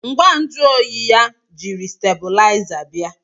ngwa nju oyi ya jiri stábịlịzá bia